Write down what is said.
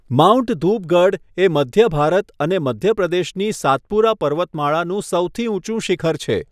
Mount Dhupgarh એ મધ્ય ભારત અને મધ્ય પ્રદેશની સાતપુરા પર્વતમાળાનું સૌથી ઊંચું શિખર છે.